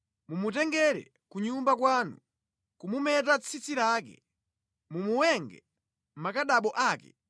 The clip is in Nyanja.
Mumutengere ku nyumba kwanu, kumumeta tsitsi lake, mumuwenge zikhadabo zake